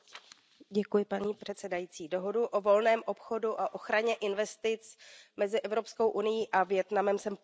Paní předsedající, dohodu o volném obchodu a ochraně investic mezi EU a Vietnamem jsem podpořila.